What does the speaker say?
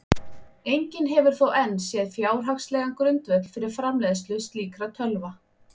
Enginn hefur þó enn séð fjárhagslegan grundvöll fyrir framleiðslu slíkra tölva.